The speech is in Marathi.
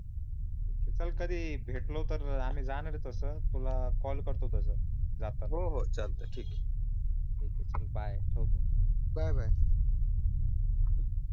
चाल कधी भेटलो तर आम्ही जाणार आहे तस तुला कॉल करतो तस जातानि हो हो चालतो ठीक आहे ठीक आहे चाल ठेवतो बाय बाय बाय